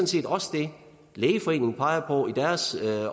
set også det lægeforeningen peger på i deres